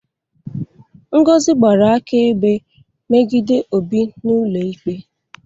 Ngozi gbara akaebe megide Obi n'ụlọikpe